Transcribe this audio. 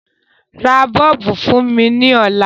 Ra bọ́ọ̀bù fún mi lọ́la.